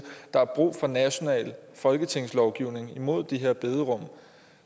der er brug for national folketingslovgivning imod de her bederum